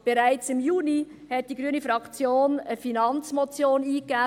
Bereits im Juni hat die grüne Fraktion eine Finanzmotion eingereicht